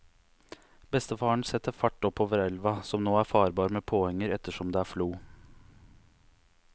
Bestefaren setter fart oppover elva, som nå er farbar med påhenger ettersom det er flo.